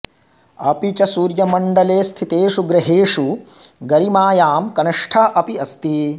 अपि च सूर्यमण्डले स्थितेषु ग्रहेषु गरिमायां कनिष्ठः अपि अस्ति